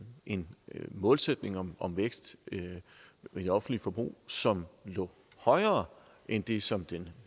en målsætning om om vækst i det offentlige forbrug som lå højere end det som den